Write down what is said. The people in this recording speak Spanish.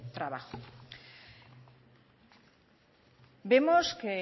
trabajo vemos que